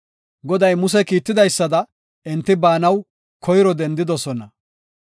Goday Muse kiitidaysada enti baanaw koyro dendidosona.